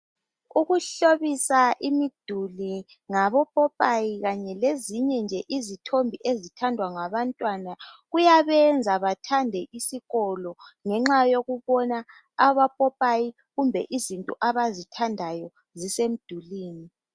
Ukuhlobisa imiduli ngabo popayi Kanye lezinye nje izithombe ezithandwa ngabantwana kuyabemza bathande isikolo ngenxa yokubona abopopayi kumbe izinto abazithandayo zisemdulini .